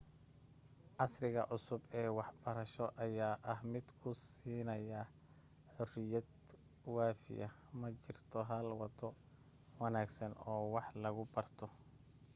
casriga cusub ee wax barasho ayaa ah mid ku siinaya xuriyad waafiya ma jirto hal wado wanaagsan oo wax lagu barto